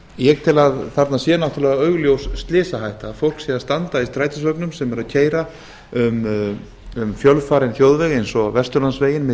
ég tel að þarna sé náttúrlega augljós slysahætta fólk sé að standa í strætisvögnum sem eru að keyra um fjölfarinn þjóðveg eins og vesturlandsveginn milli